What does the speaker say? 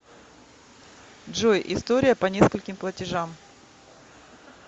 джой история по нескольким платежам